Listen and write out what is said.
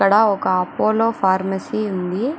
ఇక్కడ ఒక Apollo pharmacy ఉంది.